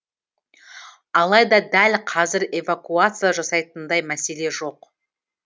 алайда дәл қазір эвакуация жасайтындай мәселе жоқ